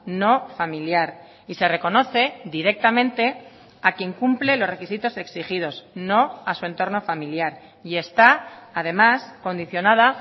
no familiar y se reconoce directamente a quien cumple los requisitos exigidos no a su entorno familiar y está además condicionada